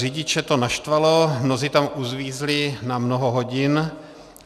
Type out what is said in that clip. Řidiče to naštvalo, mnozí tam uvízli na mnoho hodin.